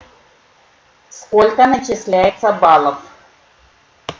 сколько начисляется баллов